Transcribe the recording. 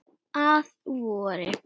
Að vori.